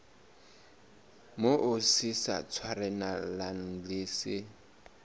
moo se sa tshwanelang se